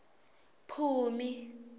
phumi